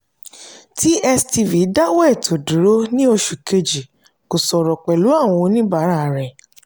tstv dáwọ́ ètò dúró ní oṣù kejì kò sọ̀rọ̀ pẹ̀lú oníbàárà rẹ̀.